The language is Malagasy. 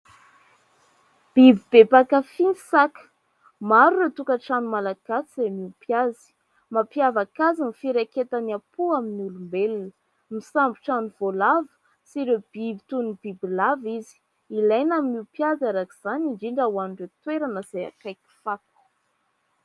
Biby be mpankafỳ ny saka. Maro ireo tokantrano malagasy izay miompy azy. Mampiavaka azy ny firaiketany am-po amin'ny olombelona. Misambotra ny voalavo sy ireo biby toy ny bibilava izy. Ilaina ny miompy azy arak'izany indrindra ho an'ireo toerana izay akaiky fako.